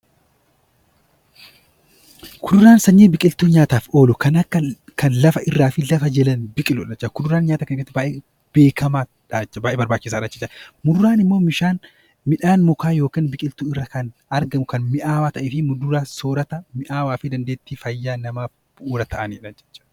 Kuduraaleen sanyii biqilootaa nyaataaf oolu kan lafarraa fi lafa jalatti biqilu nyaata baay'ee beekamudha. Muduraan immoo midhaan mukaa yookiin biqiltuu irraa kan argamu kan mi'aawaa ta'ee fi muduraan soorata dandeettii fayyaa namaaf bu'uura jechuudha